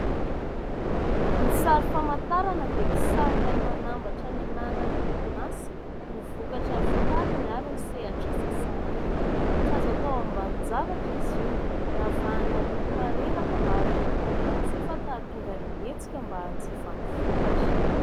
Ny sary famantarana dia kisary iray manambatra ny anaran'ny orinasa, ny vokatra vokariny ary ny sehatr'asa sahaniny. Tsy azo atao ambanin-javatra izy io. Ravahana loko marevaka mba hanintona ny mpanjifa ka hahatonga ny hetsika mba hanjifa ny vokatra.